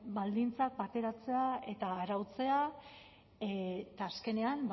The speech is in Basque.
baldintzak bateratzea eta arautzea eta azkenean